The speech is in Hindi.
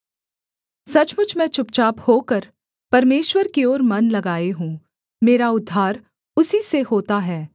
सचमुच मैं चुपचाप होकर परमेश्वर की ओर मन लगाए हूँ मेरा उद्धार उसी से होता है